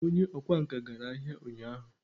onye okwá nkà gara ahia unyahu